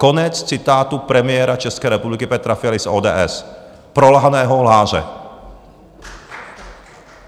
Konec citátu premiéra České republiky Petra Fialy z ODS, prolhaného lháře.